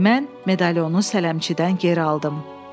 Mən medalionu sələmçidən geri aldım.”